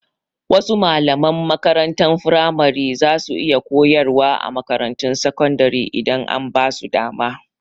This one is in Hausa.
Wasu malaman makarantar firamare za su iya koyarwa a makarantun sakandire idan an basu dama